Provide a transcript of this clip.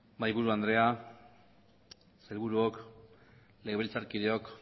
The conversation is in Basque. mahaiburu andrea sailburuok legebiltzarkideok